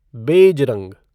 beige रंग